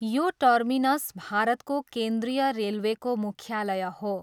यो टर्मिनस भारतको केन्द्रीय रेलवेको मुख्यालय हो।